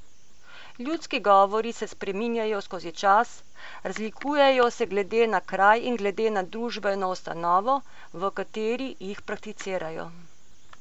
Ljudski govori se spreminjajo skoz čas, razlikujejo se glede na kraj in glede na družbeno ustanovo, v kateri jih prakticirajo.